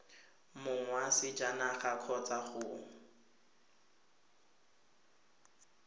mong wa sejanaga kgotsa go